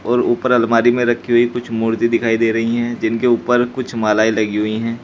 और ऊपर अलमारी में रखी हुई कुछ मूर्ति दिखाई दे रही है जिनके ऊपर कुछ मालाएं लगी हुई है।